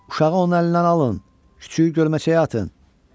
Uşağı onun əlindən alın, küçüyü gölməçəyə atın.